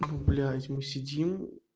ну блядь мы сидим